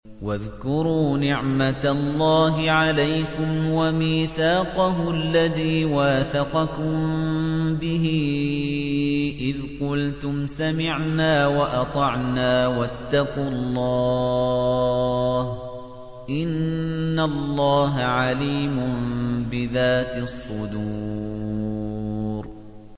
وَاذْكُرُوا نِعْمَةَ اللَّهِ عَلَيْكُمْ وَمِيثَاقَهُ الَّذِي وَاثَقَكُم بِهِ إِذْ قُلْتُمْ سَمِعْنَا وَأَطَعْنَا ۖ وَاتَّقُوا اللَّهَ ۚ إِنَّ اللَّهَ عَلِيمٌ بِذَاتِ الصُّدُورِ